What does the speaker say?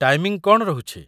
Timing କ'ଣ ରହୁଛି?